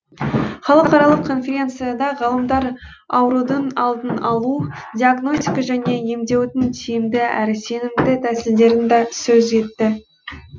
халықаралық конференцияда ғалымдар аурудың алдын алу диагностика және емдеудің тиімді әрі сенімді тәсілдерін да сөз етті